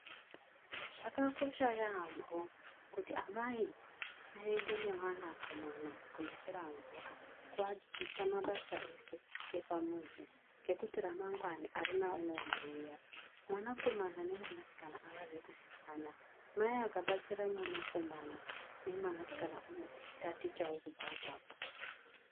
Zvakakosha yaamho kuti amai vaende nemwanakomana kunochera mvura kuwadzidzisa mabasa ese epamuzi. Ngekuti ramangwana hakuna anoziva. Mwanakomana nemwanasikana havazi kusiyana. Mai akabatsira mwanakomana nemwanasikana unotatichawo kubva ipapo.